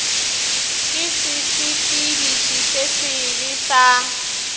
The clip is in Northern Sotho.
ke sesepediši se sebe sa